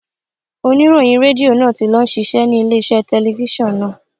Oníròyìn Rédíò náà ti lọ ń ṣiṣẹ́ ní ilé iṣẹ́ telifíṣàn náà.